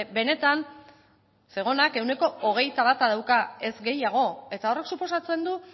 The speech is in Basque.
benetan zegonak ehuneko hogeita bata dauka ez gehiago eta horrek suposatzen du